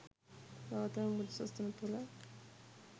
ගෞතම බුදු සසුන තුළ